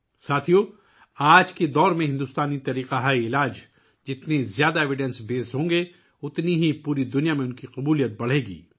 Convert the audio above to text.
ساتھیو ، آج کے دور میں جتنے زیادہ ثبوتوں پر مبنی بھارتی طبی نظام ہوں گے، پوری دنیا میں ان کی قبولیت اتنی ہی بڑھے گی